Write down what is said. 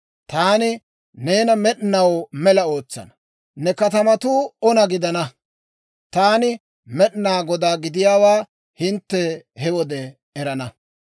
Taani neena med'inaw mela ootsana; ne katamatuu ona gidana. Taani Med'inaa Godaa gidiyaawaa hintte he wode erana.